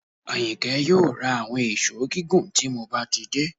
Àyìnkẹ́ yóò ra àwọn èṣó gígùn tí mo bá ti dé